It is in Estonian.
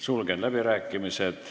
Sulgen läbirääkimised.